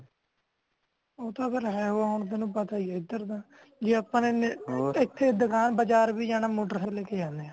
ਓਹਤਾ ਫੇਰ ਹੈ , ਹੁਣ ਤੈਨੂੰ ਪਤਾ ਹੀ ਹੈ ਇਦਰਦਾ ਜੇ ਆਪਾ ਨੇ ਇਥੇ ਦੁਕਾਨ ਬਜ਼ਾਰ ਵੀ ਜਾਣਾ motorcycle ਲੇਕੇ ਜਾਨੇ ਹਾਂ।